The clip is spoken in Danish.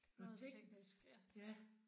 Noget tek ja